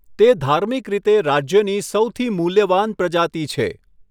તે ધાર્મિક રીતે રાજ્યની સૌથી મૂલ્યવાન પ્રજાતિ છે.